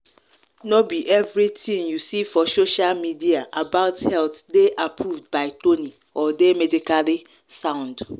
no be everything you see for social media about health dey approved by tony or dey medically sound.